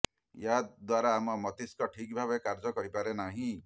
ଏହା ଦ୍ୱାରା ଆମ ମସ୍ତିଷ୍କ ଠିକ୍ ଭାବେ କାର୍ଯ୍ୟ କରିପାରେ ନାହିଁ